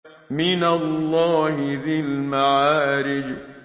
مِّنَ اللَّهِ ذِي الْمَعَارِجِ